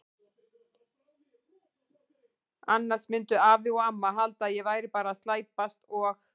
Annars myndu afi og amma halda að ég væri bara að slæpast og.